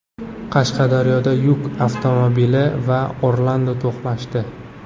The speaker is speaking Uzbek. Qashqadaryoda yuk avtomobili va Orlando to‘qnashdi.